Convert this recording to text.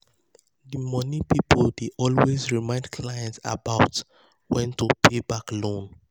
di money people dey always remind clients about when to pay back loan.